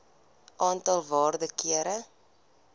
aantal waarde kere